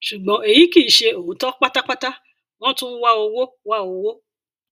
ṣùgbọn èyí kì í ṣe òótọ pátápátá wọn tún ń wá owó wá owó